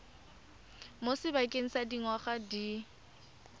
mo sebakeng sa dingwaga di